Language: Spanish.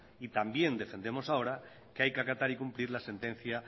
también defendemos ahora que hay que acatar y cumplir la sentencia